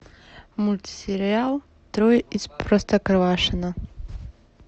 мультсериал трое из простоквашино